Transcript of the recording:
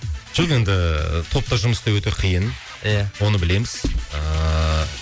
жоқ енді топта жұмыс істеу өте қиын иә оны білеміз ыыы